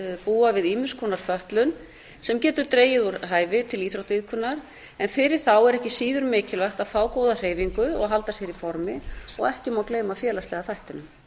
búa við ýmiss konar fötlun sem getur dregið úr hæfi til íþróttaiðkunar en fyrir þá er eða síður mikilvægt að fá góða hreyfingu og halda sér í formi og ekki má gleyma félagslega þættinum